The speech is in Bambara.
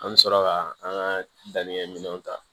An bɛ sɔrɔ ka an ka dannikɛ minɛnw ta